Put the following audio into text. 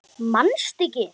Manstu ekki?